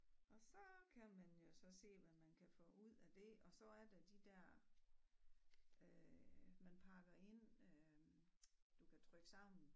Og så kan man jo så se hvad man kan få ud af det og så er der de dér øh man pakker ind øh du kan trykke sammen